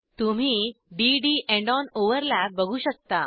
तुम्ही d D and on overlap बघू शकता